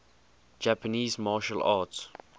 japanese martial arts